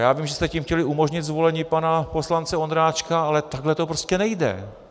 Já vím, že jste tím chtěli umožnit zvolení pana poslance Ondráčka, ale takhle to prostě nejde.